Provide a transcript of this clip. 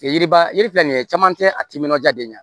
Yiriba yiri filɛ nin ye caman tɛ a timinan diya de ye